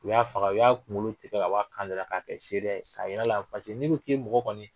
U y'a faga, u y'a kunkolo tigɛ, ka bɔ a kan da la k'a kɛ seereya ye, ka yir'a la ni nin kun ye mɔgɔ kɔni